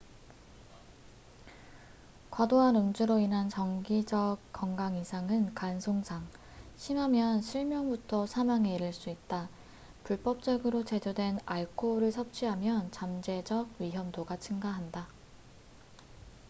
과도한 음주로 인한 장기적 건강 이상은 간 손상 심하면 실명부터 사망에 이를 수 있다 불법적으로 제조된 알코올을 섭취하면 잠재적 위험도가 증가한다